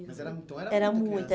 Mas era então muita criança? Era muita